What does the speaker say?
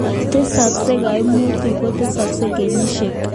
Tesaksei kaimutik kotesaksei kenyisiek